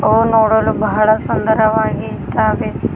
ಅವು ನೋಡಲು ಬಹಳ ಸುಂದರವಾಗಿ ಇದ್ದಾವೆ.